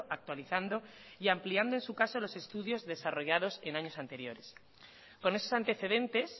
actualizando y ampliando en su caso los estudios desarrollados en años anteriores con esos antecedentes